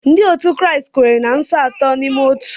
Ndị otu Kraịst kwere na Nso Atọ n’Ime Otu.